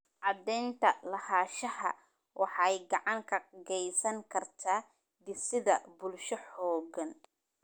Cadaynta lahaanshaha waxay gacan ka geysan kartaa dhisidda bulsho xooggan.